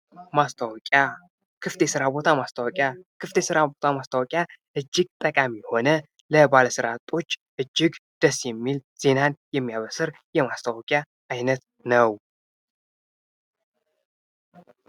ማስታወቂያ ፦ ክፍት የስራ ቦታ ማስታወቂያ ፦ ክፍት የስራ ቦታ ማስታወቂያ እጅግ ጠቃሚ የሆነ ለባለስራ አጦች እጅግ ደስ የሚል ዜናን የሚያበስር የማስታወቂያ አይነት ነው ።